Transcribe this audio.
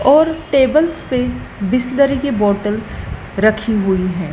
और टेबल्स पे बिसलेरी की बॉटल्स रखी हुई है।